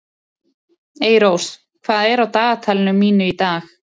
Eyrós, hvað er á dagatalinu mínu í dag?